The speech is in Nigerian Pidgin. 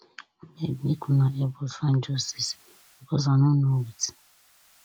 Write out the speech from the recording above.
abeg make una help us find justice because i no know wetin